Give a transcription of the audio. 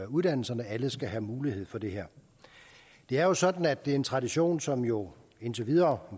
uddannelserne alle skal have mulighed for det her det er jo sådan at det er en gammel tradition som jo indtil videre